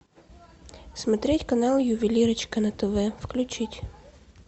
смотреть канал ювелирочка на тв включить